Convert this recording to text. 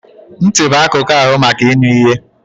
Ntị bụ akụkụ ahụ maka ịnụ ihe.